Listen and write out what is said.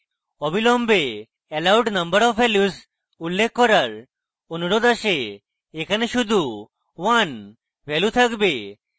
অবিলম্বে allowed number of values উল্লেখ করার অনুরোধ আসে এখানে শুধু 1 value থাকবে